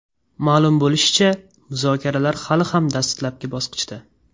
Ma’lum bo‘lishicha, muzokaralar hali ham dastlabki bosqichda.